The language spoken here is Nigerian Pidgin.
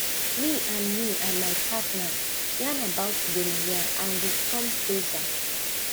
me and me and my partner yarn about gonorrhea and we come closer